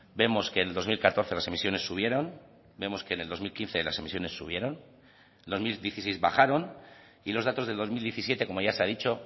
vemos que en el dos mil catorce las emisiones subieron vemos que en el dos mil quince las emisiones subieron en el dos mil dieciséis bajaron y los datos de dos mil diecisiete como ya se ha dicho